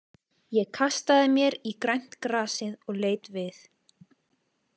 Ég kastaði mér í grænt grasið og leit við.